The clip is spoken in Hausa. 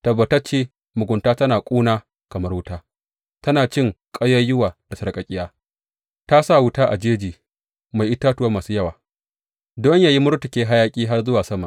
Tabbatacce mugunta tana ƙuna kamar wuta; tana cin ƙayayyuwa da sarƙaƙƙiya, ta sa wuta a jeji mai itatuwa masu yawa, don yă yi murtuke hayaƙi har zuwa sama.